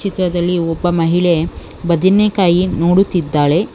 ಚಿತ್ರದಲ್ಲಿ ಒಬ್ಬ ಮಹಿಳೆ ಬದನೆಕಾಯಿ ನೋಡುತ್ತಿದ್ದಾಳೆ.